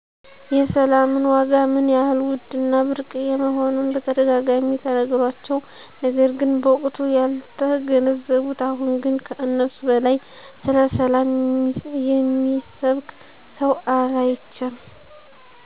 የሰላምን ዋጋ ምን ያህል ውድ እና ብርቅየ መሆኑን በተደጋጋሚ ተነግሯቸው፤ ነገር ግን በወቅቱ ያልተገነዘቡት አሁን ግን ከእነሱ በላይ ስለሰላም የሚሰብክ ሰው አላይቼም።